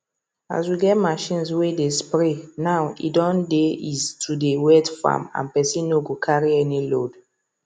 as we get machines wey dey spray now e don dey ease to dey wet farm and person no go carry any load